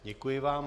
Děkuji vám.